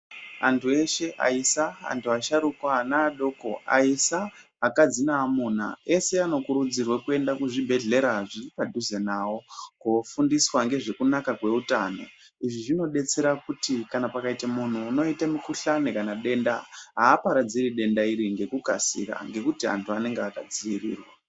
Antu eshe aisa antu asharukwa ana adoko aisa akadzi naamuna ese anokurudzirwa kuenda kuzvibhehlera zviri padhuze nawo kofundiswa ngezvekunaka kweutano. Izvi zvinodetsera kuti kana pakaite munhu unoite mikuhlani kana denda haaparadziri denda iri ngekukasira ngekuti antu anenge akadziirirwa.